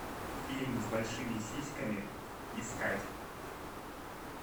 фильм с большими сиськами искать